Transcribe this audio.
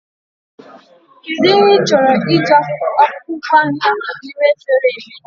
What do you intend to do with the ugu leave you remain in the bowl